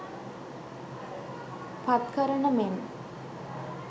පත් කරන මෙන්